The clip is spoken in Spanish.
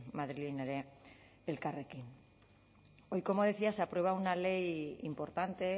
madrilen ere elkarrekin hoy como decía se aprueba una ley importante